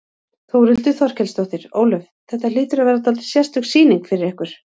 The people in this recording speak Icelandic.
Þórhildur Þorkelsdóttir: Ólöf, þetta hlýtur að vera dálítið sérstök sýning fyrir ykkur?